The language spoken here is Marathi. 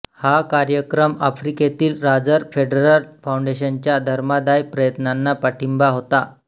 हा कार्यक्रम आफ्रिकेतील रॉजर फेडरर फाउंडेशनच्या धर्मादाय प्रयत्नांना पाठिंबा होता